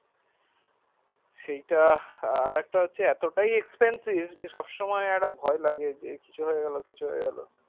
সেইটা আর একটা হচ্ছে এতটাও expensive সবসময় ভয় লাগে যে কিছু হয়ে গেলো কিছু হয়ে গেলো